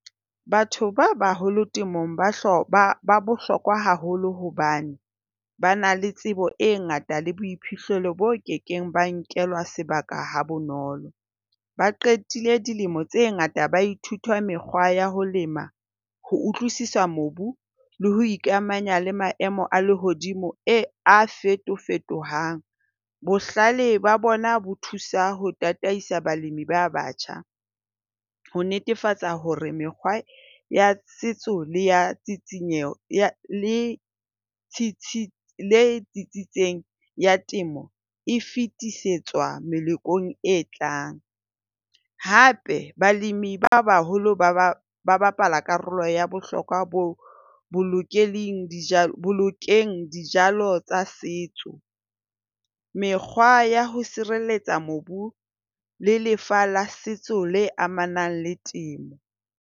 Batho ba baholo temong ba bohlokwa haholo hobane ba na le tsebo e ngata le boiphihlelo bo ke keng ba nkelwa sebaka ha bonolo. Ba qetile dilemo tse ngata ba ithuta mekgwa ya ho lema, ho utlwisisa mobu le ho ikamanya le maemo a lehodimo e a fetofetohang. Bohlale ba bona bo thusa ho tataisa balemi ba batjha, ho netefatsa hore mekgwa ya setso le ya tshitshinyeho le tsitsitseng ya temo e fetisetswa melekong e tlang. Hape balemi ba baholo ba ba bapala karolo ya bohlokwa ho bolokeng jala dijalo tsa setso, mekgwa ya ho sireletsa mobu le lefa la setso amanang le temo.